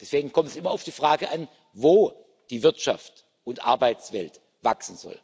Deswegen kommt es immer auf die Frage an, wo die Wirtschaft und die Arbeitswelt wachsen sollen.